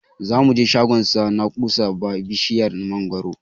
Zamu je shagon sa na kusa ba bishiyar mangwaro